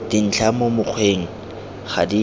dintlha mo mokgweng ga di